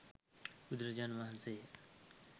බුදුරජාණන් වහන්සේ ය.